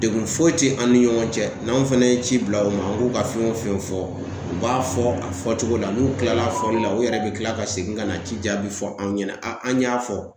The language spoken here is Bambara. Degun foyi te an ni ɲɔgɔn cɛ n'anw fɛnɛ ye ci bila u ma k'u ka fɛn o fɛn fɔ u b'a fɔ a fɔ cogo la n'u kilal'a fɔli la u yɛrɛ be kila ka segin ka na ci jaabi fɔ an ɲɛnɛ a an y'a fɔ